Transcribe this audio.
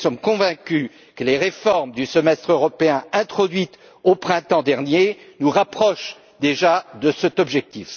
Nous sommes convaincus que les réformes du Semestre européen introduites au printemps dernier nous rapprochent déjà de cet objectif.